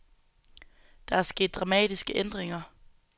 Der er sket dramatiske ændringer.